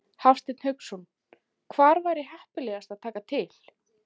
Hafsteinn Hauksson: Hvar væri heppilegast að taka til?